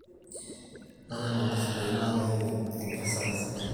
ore nkong'at sidain naa keyau enkesare sidai